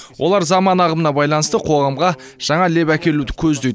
олар заман ағымына байланысты қоғамға жаңа леп әкелуді көздейді